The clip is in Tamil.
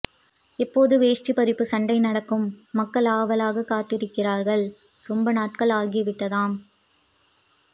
எப்போது வேஷ்டிபரிப்பு சண்டை நடக்கும் மக்கள் ஆவலாக காத்திருக்கிறார்கள் ரொம்ப நாட்கள் ஆகிவிட்டதாம்